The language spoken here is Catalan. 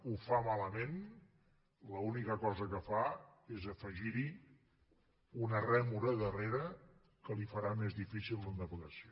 ho fa malament l’única cosa que fa és afegir hi una rèmora a darrere que li farà més difícil la navegació